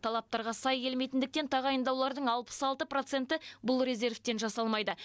талаптарға сай келмейтіндіктен тағайындаулардың алпыс алты проценті бұл резервтен жасалмайды